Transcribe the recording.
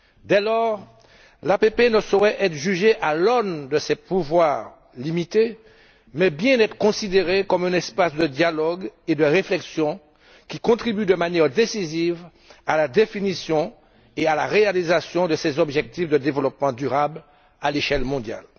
Dès lors, l'APP ne saurait être jugée à l'aune de ses pouvoirs limités, mais devrait bien être considérée comme un espace de dialogue et de réflexion qui contribue de manière décisive à la définition et à la réalisation des objectifs de développement durable à l'échelle mondiale.